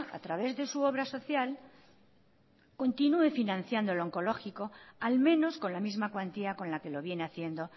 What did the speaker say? a través de su obra social continúe financiando el oncológico al menos con la misma cuantía con la que lo viene haciendo